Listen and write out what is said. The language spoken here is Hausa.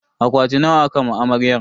Akwati nawa aka ma amaryar?